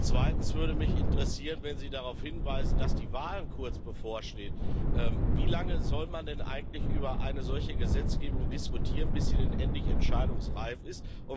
Zweitens würde mich interessieren Wenn Sie darauf hinweisen, dass die Wahl kurz bevorsteht, wie lange soll man denn eigentlich über eine solche Gesetzgebung diskutieren, bis sie endlich entscheidungsreif ist?